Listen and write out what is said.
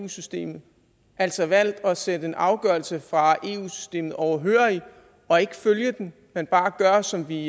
eu systemet altså valgt at sidde en afgørelse fra eu systemet overhørig og ikke følge den men bare gøre som vi